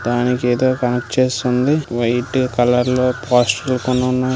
దానికి ఏదో కనెక్ట్ చేసి ఉంది వైట్ కలర్ లో పోస్టర్ లు కొన్ని ఉన్నాయ్.